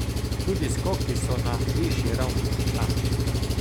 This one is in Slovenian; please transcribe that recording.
Tudi skoki so na višji ravni kot lani.